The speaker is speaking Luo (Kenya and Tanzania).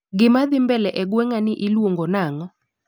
Gimadhii mbele e gweng'a ni iluongo nang'o